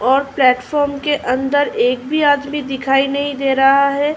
और प्लेटफार्म के अंदर एक भी आदमी दिखाई नही दे रहा है।